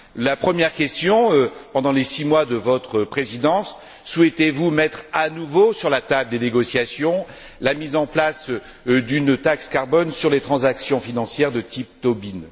La première question pendant les six mois de votre présidence, souhaitez vous mettre à nouveau sur la table des négociations, la mise en place d'une taxe carbone sur les transactions financières, de type Tobin?